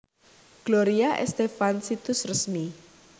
Gloria Estefan Situs Resmi